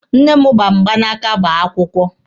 Nne m gba mgbanaka gbaa akwụkwọ.